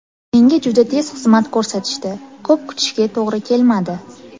Menga juda tez xizmat ko‘rsatishdi, ko‘p kutishga to‘g‘ri kelmadi.